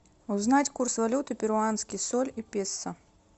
узнать курс валюты перуанский соль и песо